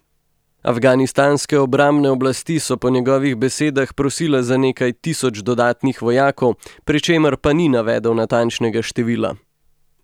Afganistanske obrambne oblasti so po njegovih besedah prosile za nekaj tisoč dodatnih vojakov, pri čemer pa ni navedel natančnega števila.